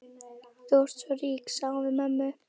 Þú ert svo rík, sagði hún við mömmu.